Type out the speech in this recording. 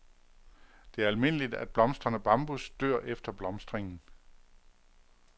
Det er almindeligt, at blomstrende bambus dør efter blomstringen.